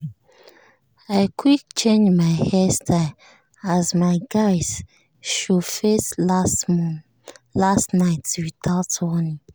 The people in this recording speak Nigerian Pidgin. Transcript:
i quick change my hair style as my guys show face last night without warning.